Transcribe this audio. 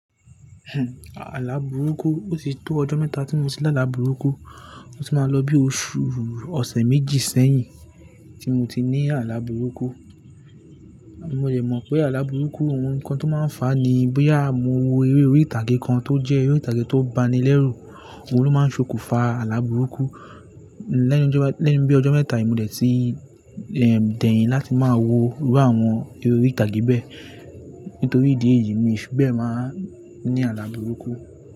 Àlàbùrúkù, ó ti tó ọjọ́ mẹ́ta tí mo ti lá àlàbùrúkù, ó ti máa lọ bí oṣù ọ̀sẹ̀ méjì sẹ́yìn tí mo ti ní àlàbùrúkù. Mo de mọ̀ pé àlàbùrúkù ohun kan tó máa ń fà á ni bóyá mo wo eré orí ìtàgé kan tó jẹ́ eré ìtàgé tó bani lẹ́rù, òun ló máa ń ṣokùnfà àlàbùrúkù. Lẹ́yìn ọjọ́-- lẹ́yìn bí ọjọ́ mẹ́ta yìí mo dẹ̀ ti dẹ̀yìn láti máa wo irú àwọn eré orí ìtàgé bẹ́ẹ̀. Nítorí ìdí èyí mi fíbẹ̀ máa ń ní àlàbùrúkù.